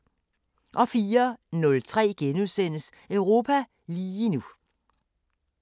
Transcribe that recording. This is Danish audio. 04:03: Europa lige nu *